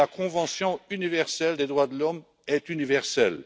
La convention universelle des droits de l'homme est universelle.